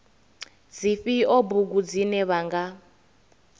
dzifhio bugu dzine vha nga